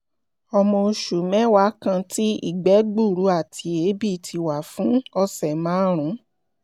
ọmọ oṣù mẹ́wàá kan tí ìgbẹ́ gbuuru àti èébì ti wà fún ọ̀sẹ̀ márùn-ún